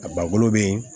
A ba bolo be yen